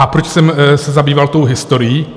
A proč jsem se zabýval tou historií?